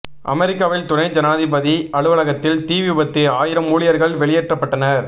அமெரிக்காவில் துணை ஜனாதிபதி அலுவலகத்தில் தீ விபத்து ஆயிரம் ஊழியர்கள் வெளியேற்றப்பட்டனர்